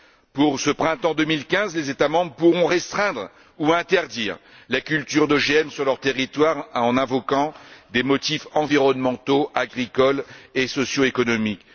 Pour ce printemps 2015, les États membres pourront restreindre ou interdire la culture d'OGM sur leurs territoires en invoquant des motifs environnementaux, agricoles et socioéconomiques.